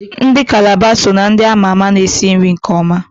Ndị Kalaba so na ndị ama ma esi nri nke ọma.